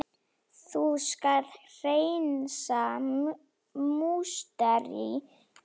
Þú skalt hreinsa musteri mitt!